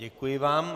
Děkuji vám.